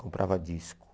Comprava disco.